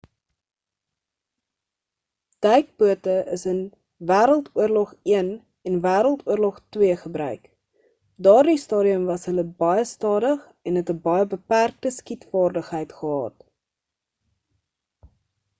duikbote is in wêreldoorlog i en wêreldoorlog ii gebruik op daardie stadium was hulle baie stadig en het 'n baie beperkte skietvaardigheid gehad